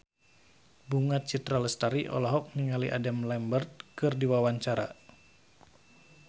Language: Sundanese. Bunga Citra Lestari olohok ningali Adam Lambert keur diwawancara